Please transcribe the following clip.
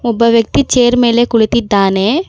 ಒಬ್ಬ ವ್ಯಕ್ತಿ ಚೇರ್ ಮೇಲೆ ಕುಳಿತಿದ್ದಾನೆ.